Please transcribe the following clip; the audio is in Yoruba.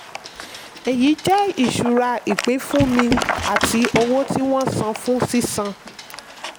èyí jẹ́ ìṣura ìpínfúnni àti owó tí wọ́n san fún sísan.